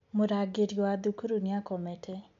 Mũrangĩri wa thukuru nĩakomete.